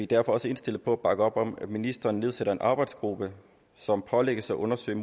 derfor også indstillet på at bakke op om at ministeren nedsætter en arbejdsgruppe som pålægges at undersøge